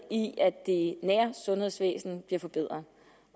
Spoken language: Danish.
i at det nære sundhedsvæsen bliver forbedret